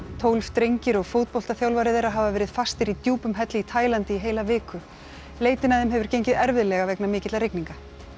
tólf drengir og fótboltaþjálfari þeirra hafa verið fastir í djúpum helli í Taílandi í heila viku leitin að þeim hefur gengið erfiðlega vegna mikilla rigninga